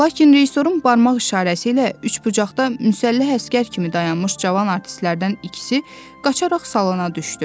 Lakin rejissorun barmaq işarəsi ilə üçbucaqda müsəlləh əsgər kimi dayanmış cavan artistlərdən ikisi qaçaraq salona düşdü.